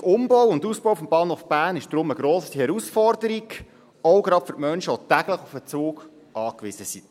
Der wichtige Umbau und Ausbau des Bahnhofs Bern ist darum eine grosse Herausforderung, gerade auch für Menschen, die täglich auf den Zug angewiesen sind.